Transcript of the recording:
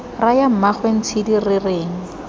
raya mmaagwe ntshidi re reng